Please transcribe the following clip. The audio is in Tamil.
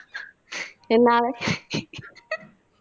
என்னால